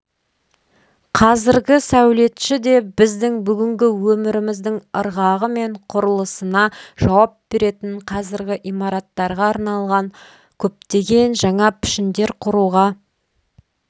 қазіргі сәулетші де біздің бүгінгі өміріміздің ырғағы мен құрылысына жауап беретін қазіргі имараттарға арналған көптеген жаңа пішіндер құруға